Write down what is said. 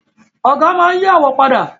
Ọ̀gá máa n yí àwo padà